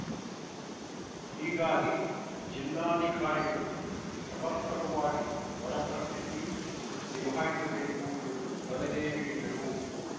ಹೀಗಾಗಿ ಜಿಲ್ಲಾಧಿಕಾರಿಗಳು ಸಮರ್ಪಕವಾಗಿ ಬರ ಪರಸ್ಥಿತಿ ನಿಭಾಯಿಸಬೇಕು ಎಂದು ಸಲಹೆ ನೀಡಿದರು